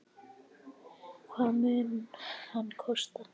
Hvað mun hann kosta?